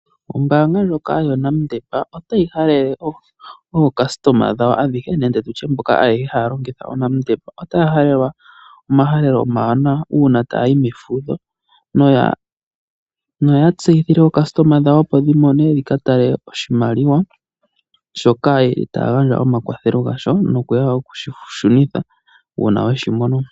Ombanga lyoka yoNedbank otayi halele ocustomer dhawo adhihe nenge tutye ayehe mboka haya longitha oNedbank. Otaya halelwa omahalelo omawanawa una tayi mefudho noya tseyithile ocustomer dhawo dhikatale oshimaliwa shoka yeli taya gandja omakwathelo gasho nokushi shunitha una weshimono.